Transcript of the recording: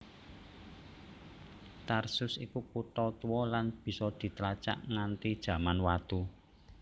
Tarsus iku kutha tuwa lan bisa ditlacak nganti Jaman Watu